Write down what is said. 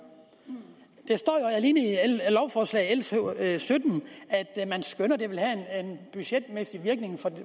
der står jo alene i lovforslaget l sytten at man skønner at den budgetmæssige virkning